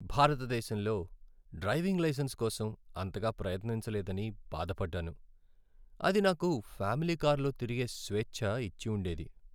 భారతదేశంలో driving licence కోసం అంతగా ప్రయత్నించలేదని బాధపడ్డాను. అది నాకు ఫ్యామిలీ కారులో తిరిగే స్వేచ్చ ఇచ్చి ఉండేది.